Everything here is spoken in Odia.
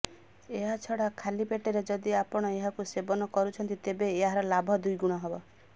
ଏହା ଛଡା ଖାଲି ପେଟରେ ଯଦି ଆପଣ ଏହାକୁ ସେବନ କରୁଛନ୍ତି ତେବେ ଏହାର ଲାଭ ଦ୍ବିଗୁଣ ହେବ